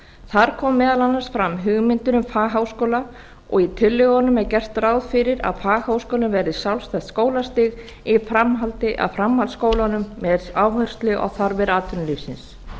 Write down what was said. þar kom meðal annars fram hugmyndir um fagháskóla og í tillögunum er gert ráð fyrir að fagháskólinn verði sjálfstætt skólastig í framhaldi af framhaldsskólunum með áherslu á þarfir atvinnulífsins